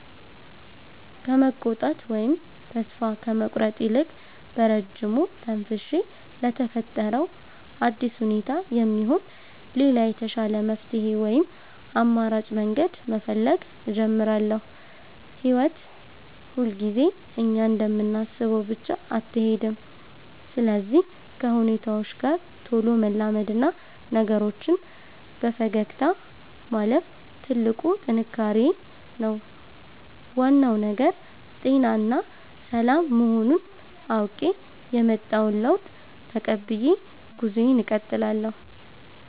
ከመቆጣት ወይም ተስፋ ከመቁረጥ ይልቅ፣ በረጅሙ ተንፍሼ ለተፈጠረው አዲስ ሁኔታ የሚሆን ሌላ የተሻለ መፍትሔ ወይም አማራጭ መንገድ መፈለግ እጀምራለሁ። ሕይወት ሁልጊዜ እኛ እንደምናስበው ብቻ አትሄድም፤ ስለዚህ ከሁኔታዎች ጋር ቶሎ መላመድና ነገሮችን በፈገግታ ማለፍ ትልቁ ጥንካሬዬ ነው። ዋናው ነገር ጤናና ሰላም መሆኑን አውቄ፣ የመጣውን ለውጥ ተቀብዬ ጉዞዬን እቀጥላለሁ።